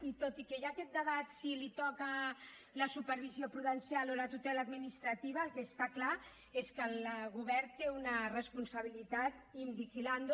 i tot i que hi ha aquest debat si li toca la supervisió prudencial o la tutela administrativa el que està clar és que el govern té una responsabilitat in vigilando